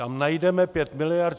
Tam najdeme pět miliard.